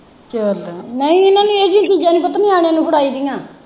ਚੱਲ ਨਹੀਂ ਇਹਨਾਂ ਨੂੰ ਇਹੋ ਜਿਹੀਆਂ ਚੀਜ਼ਾਂ ਨਹੀਂ ਪੁੱਤ ਨਿਆਣਿਆਂ ਨੂੰ ਫੜਾਈ ਦੀਆਂ।